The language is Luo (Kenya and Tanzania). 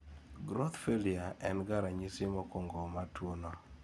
growth failure en ge ranyisi mokuongo mar tuwono